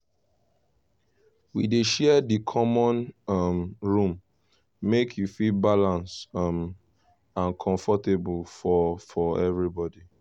we dey share di common um room make e fit balance um and comfortable for for everybody.